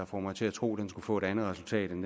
få mig til at tro at den skulle få et andet resultat end